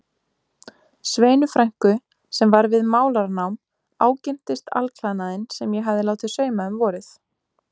Sveinu frænku sem var við málaranám, ágirntist alklæðnaðinn sem ég hafði látið sauma um vorið.